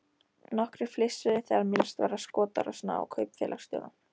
Nokkrir flissuðu þegar minnst var á skotárásina á kaupfélagsstjórann.